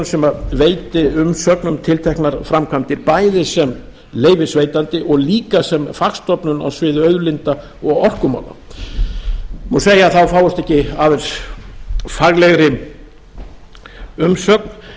sem veiti umsögn um tilteknar framkvæmdir bæði sem leyfisveitandi og líka sem og fagstofnun á sviði auðlinda og orkumála má segja að það fáist ekki eingöngu faglegri umsögn